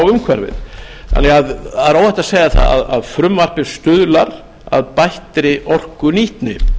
umhverfið það er óhætt að segja að frumvarpið stuðlar að bættri orkunýtni það